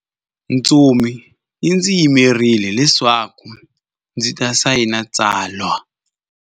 Ntsumi yi ndzi yimerile leswaku ndzi ta sayina tsalwa.